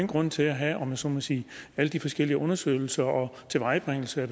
grund til at have om jeg så må sige alle de forskellige undersøgelser og tilvejebringelse af